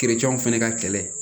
fɛnɛ ka kɛlɛ